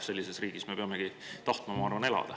Sellises riigis me peamegi tahtma elada, ma arvan.